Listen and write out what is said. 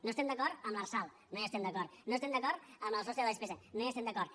no estem d’acord amb l’arsal no hi estem d’acord no estem d’acord amb el sostre de despesa no hi estem d’acord